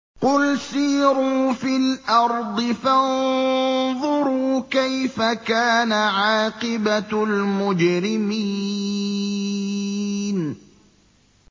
قُلْ سِيرُوا فِي الْأَرْضِ فَانظُرُوا كَيْفَ كَانَ عَاقِبَةُ الْمُجْرِمِينَ